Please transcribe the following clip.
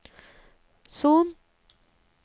Son